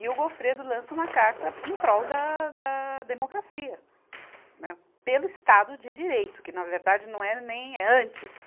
E o Goffredo lança uma carta em prol da, da democracia, né, pelo Estado de Direito, que na verdade não é nem antes.